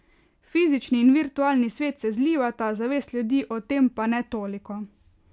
Fizični in virtualni svet se zlivata, zavest ljudi o tem pa ne toliko.